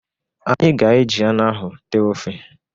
Anyị ga-e ji anụ ahụ tee ofe.